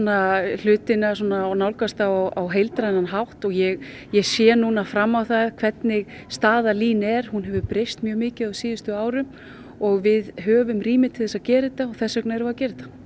hlutina svona og nálgast þá á heildrænan hátt og ég ég sé nú fram á það hvernig staða LÍN er hún hefur breyst mjög mikið á síðustu árum og við höfum rými til þess að gera þetta og þess vegna erum við að gera þetta